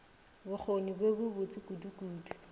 bokgoni bjo bo botse kudukudu